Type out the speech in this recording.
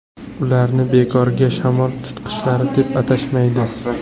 Ularni bekorga shamol tutqichlari deb atashmaydi.